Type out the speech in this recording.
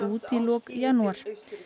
út í lok janúar